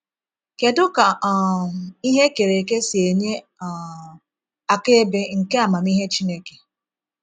Kedu ka um ihe e kere eke si enye um akaebe nke amamihe Chineke?